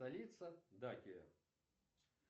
столица дакия